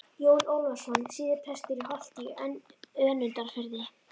Jón Ólafsson, síðar prestur í Holti í Önundarfirði.